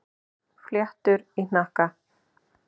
Fléttur í hnakka.